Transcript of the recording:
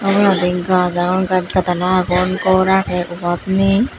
oboladi gaj agon gaj gadala agon gor agey obhab ney.